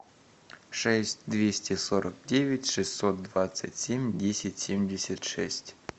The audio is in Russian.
шесть двести сорок девять шестьсот двадцать семь десять семьдесят шесть